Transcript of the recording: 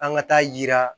An ka taa yira